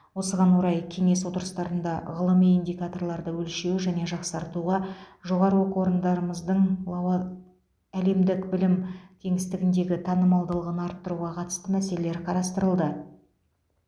осыған орай кеңес отырыстарында ғылыми индикаторларды өлшеу және жақсартуға жоғары оқу орындарымыздың лауа әлемдік білім кеңістігіндегі танымалдығын арттыруға қатысты мәселелер қарастырылды